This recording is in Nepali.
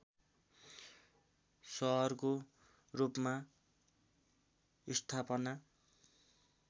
सहरको रूपमा स्थापना